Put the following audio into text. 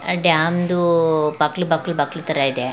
Dam ದು ಬಕ್ಲ್ ಬಕ್ಲ್ ಬಕ್ಲ್ ತರಾ ಇದೆ.